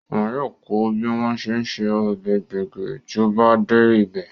Wọn yóò kọ́ ọ bí wọ́n ṣe ń se ọbẹ̀ gbẹ̀gìrì tí ó bá dé ibẹ̀